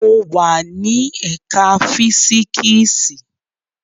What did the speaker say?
Mo wa ni ẹka fisiksi